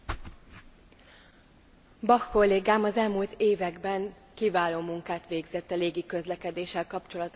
Bach kollégám az elmúlt években kiváló munkát végzett a légiközlekedéssel kapcsolatos utasjogok területén.